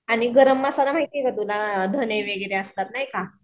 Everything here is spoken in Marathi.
आणि गरम मसाला माहिती का तुला धने वगैरे असतात नाही का